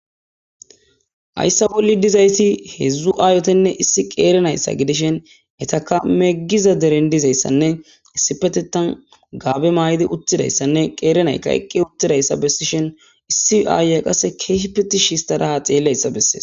Haysa bolla dizaysi hezhzhu ayetinne issa na'aa gidishin etika megiza deren dizaysa issippetetan Gabe mayidi uttidaysanne qeri naytaekki uttidaysa besishin issi ayiya qaseka kehippe tishi histada ha xelizaysa beses.